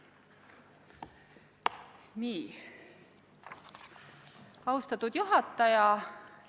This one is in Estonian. Austatud juhataja!